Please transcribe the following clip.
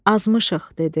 Azmışıq, dedi.